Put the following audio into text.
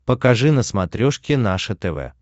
покажи на смотрешке наше тв